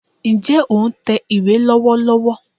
N jẹ́ o n tẹ ìwé ìwé lọ́wọ́lọ́wọ́